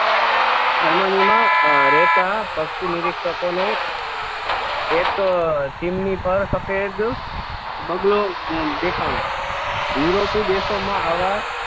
Germany માં રહેતા પક્ષી નિરીક્ષકો ને એક ચીમની પર સફેદ બગલો દેખાણો વિરોધી દેશો માં આવા